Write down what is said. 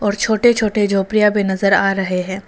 छोटे छोटे झोपड़ियां भी नजर आ रहे है।